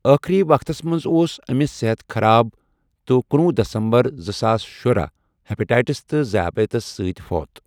آخری وقتن مَنٛز اوس امس صحت خراب تہِ کنُوُہ دسمبرس زٕ ساس شُراہ ہِیپاٹائٹس تہٕ ذیابیطس سۭتۍ فوت۔